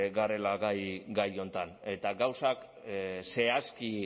garela gai honetan eta gauzak zehazki